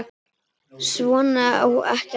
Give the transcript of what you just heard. Svona á ekki að hugsa.